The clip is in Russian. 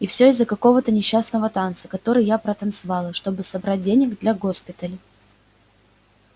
и все из-за какого-то несчастного танца который я протанцевала чтобы собрать денег для госпиталя